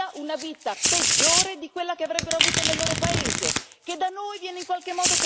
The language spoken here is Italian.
Che da noi viene in qualche modo tollerata, per esempio, la poligamia, mentre nei loro paesi oramai è vietata.